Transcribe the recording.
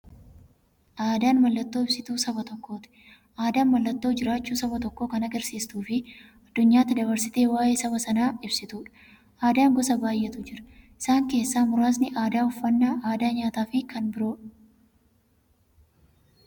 Aadaan mallattoo ibsituu saba tokkooti. Aadaan mallattoo jiraachuu saba tokkoo kan agarsiistufi addunyyaatti dabarsitee waa'ee saba sanaa ibsituudha. Aadaan gosa baay'eetu jira. Isaan keessaa muraasni aadaa, uffannaa aadaa nyaataafi kan biroo.